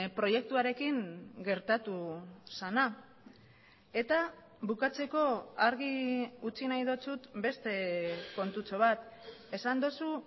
proiektuarekin gertatu zena eta bukatzeko argi utzi nahi dizut beste kontutxo bat esan duzu